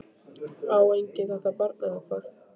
Á enginn þetta barn eða hvað?